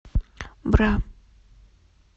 бра